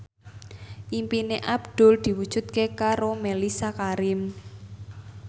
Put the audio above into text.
impine Abdul diwujudke karo Mellisa Karim